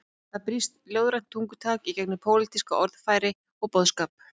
Þar brýst ljóðrænt tungutak í gegnum pólitískt orðfæri og boðskap.